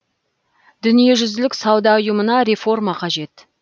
дүниежүзілік сауда ұйымына реформа қажет